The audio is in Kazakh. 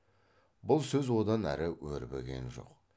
бұл сөз одан әрі өрбіген жоқ